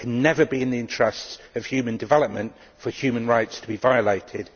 It can never be in the interests of human development for human rights to be violated.